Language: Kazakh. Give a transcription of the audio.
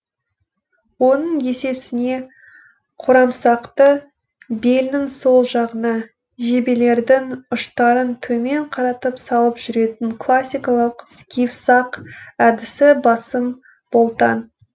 оның есесіне қорамсақты белінің сол жағына жебелердің ұштарын төмен қаратып салып жүретін классикалық скиф сақ әдісі басым болтан